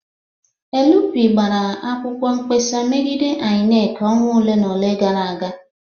LP gbara akwụkwọ mkpesa megide INEC ọnwa ole na ole gara aga